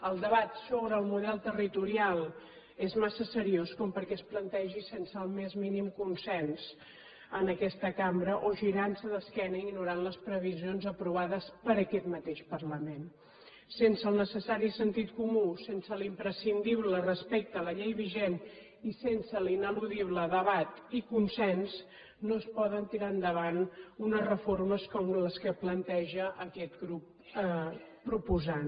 el debat sobre el model territorial és massa seriós com perquè es plantegi sense el més mínim consens en aques ta cambra o girant se d’esquena ignorant les previsions aprovades per aquest mateix parlament sense el necessari sentit comú sense l’imprescindible respecte a la llei vigent i sense l’ineludible debat i consens no es poden tirar endavant unes reformes com les que planteja aquest grup proposant